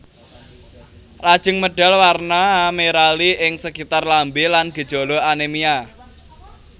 Lajeng medal warna merali ing sekitar lambé lan gejala anémia